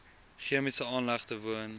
chemiese aanlegte woon